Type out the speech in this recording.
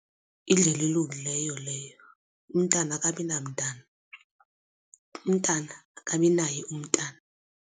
Yindlela elungileyo leyo umntana akabi namtana. Umntana akabinaye umntana.